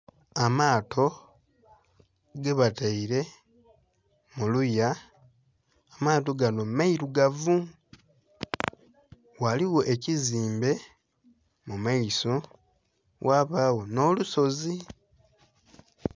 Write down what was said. Amaato gebataire muluya, amaato ganho amairugavu ghaligho ekizimbe mumaiso ghabagho nh'olusozi.